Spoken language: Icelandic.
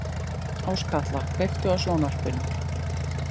Áskatla, kveiktu á sjónvarpinu.